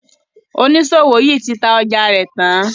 oniṣòwo yí tí tá ọjà rẹ tàn.